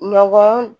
Nɔgɔ